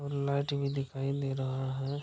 और लाइट भी दिखाई दे रहा है --